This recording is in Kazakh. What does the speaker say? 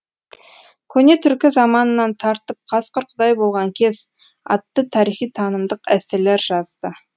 көне түркі заманынан тартып қасқыр құдай болған кез атты тарихи танымдық эсселер жазды